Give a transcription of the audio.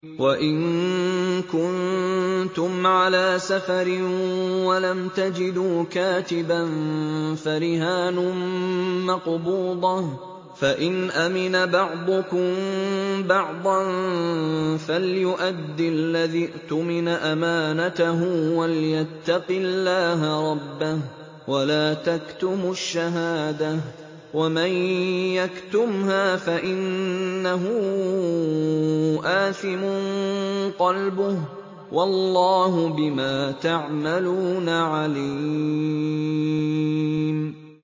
۞ وَإِن كُنتُمْ عَلَىٰ سَفَرٍ وَلَمْ تَجِدُوا كَاتِبًا فَرِهَانٌ مَّقْبُوضَةٌ ۖ فَإِنْ أَمِنَ بَعْضُكُم بَعْضًا فَلْيُؤَدِّ الَّذِي اؤْتُمِنَ أَمَانَتَهُ وَلْيَتَّقِ اللَّهَ رَبَّهُ ۗ وَلَا تَكْتُمُوا الشَّهَادَةَ ۚ وَمَن يَكْتُمْهَا فَإِنَّهُ آثِمٌ قَلْبُهُ ۗ وَاللَّهُ بِمَا تَعْمَلُونَ عَلِيمٌ